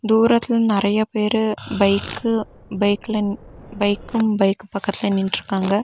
தூரத்துல நெறையா பேரு பைக்கு பைக்லன் பைக்கு பைக் பக்கத்துல நின்னுட்ருக்காங்க.